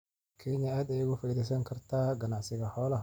Kenya aad ayay uga faa'iidaysan kartaa ganacsiga xoolaha.